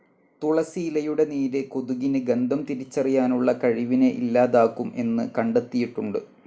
തുളസി ഇലയുടെ നീര് കൊതുകിന് ഗന്ധം തിരിച്ചറിയാനുള്ള കഴിവിനെ ഇല്ലാതാക്കും എന്ന് കണ്ടെത്തിയിട്ടുണ്ട്.